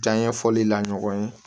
Janɲɛ fɔli la ɲɔgɔn ye